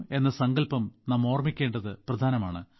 അതിനാൽ ശുചിത്വ പ്രതിജ്ഞ ഓർമ്മിക്കേണ്ടത് പ്രധാനമാണ്